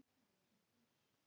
Unndór, hvað er jörðin stór?